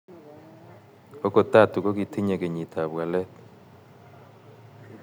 ogot Tatu, kogitinye kenyiit ap waleet